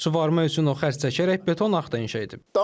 Suvarma üçün o xərc çəkərək beton arx da inşa edib.